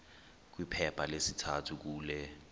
kwiphepha lesithathu kule